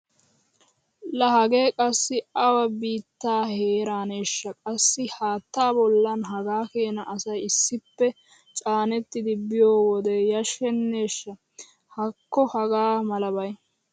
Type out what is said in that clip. Laa hagee qassi awa biittaa heeraaneeshsha qassi haattaa bollan hagaa keena asay issippe caanettidi biyo wode yashshenneshsh! Haakko hagaa malabay!